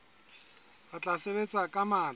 re tla sebetsa ka matla